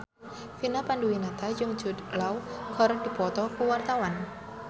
Vina Panduwinata jeung Jude Law keur dipoto ku wartawan